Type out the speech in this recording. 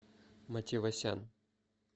матевосян